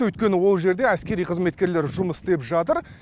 өйткені ол жерде әскери қызметкерлер жұмыс істеп жатыр